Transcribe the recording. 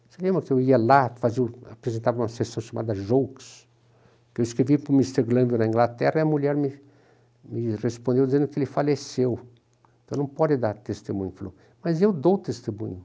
Você lembra que eu ia lá, apresentava uma sessão chamada Jokes, que eu escrevi para o mister na Inglaterra, e a mulher me me respondeu dizendo que ele faleceu, então não pode dar testemunho, mas eu dou testemunho.